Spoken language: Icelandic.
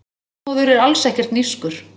Þormóður er alls ekkert nískur.